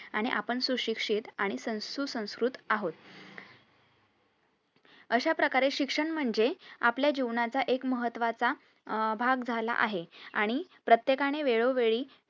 आणि आपण सुशिक्षित आणि सन सुसंस्कृत आहोत अश्या प्रकारे शिक्षण म्हणजे आपल्या जीवनाचा एक महत्वाचा अह भाग झाला आहे आणि प्रत्येकानें वेळोवेळी